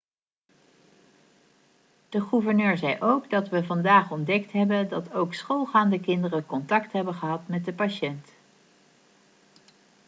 de gouverneur zei ook 'dat we vandaag ontdekt hebben dat ook schoolgaande kinderen contact hebben gehad met de patiënt.'